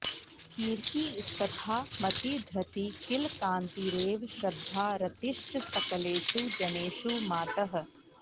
कीर्तिस्तथा मतिधृती किल कान्तिरेव श्रद्धा रतिश्च सकलेषु जनेषु मातः